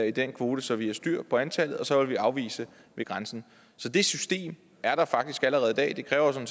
i den kvote så vi har styr på antallet og så ville vi afvise ved grænsen så det system er der faktisk allerede i dag det kræver